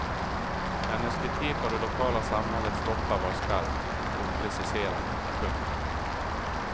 Hennes kritik av det lokala samhällets toppar var skarp och preciserad. punkt